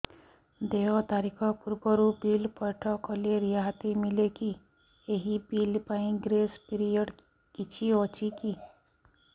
ଦେୟ ତାରିଖ ପୂର୍ବରୁ ବିଲ୍ ପୈଠ କଲେ ରିହାତି ମିଲେକି ଏହି ବିଲ୍ ପାଇଁ ଗ୍ରେସ୍ ପିରିୟଡ଼ କିଛି ଅଛିକି